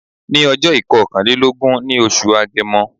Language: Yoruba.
Ní ọjó ìkokanlélógún ní oṣù agemo